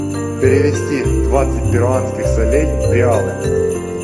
перевести двадцать перуанских солей в реалы